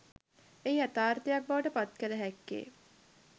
එය යථාර්තයක් බවට පත්කළ හැක්කේ